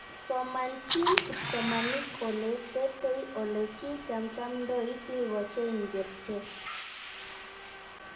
Somanchiin kipsomanik ole betei ole kichamchamdoi sigocheng kerchek.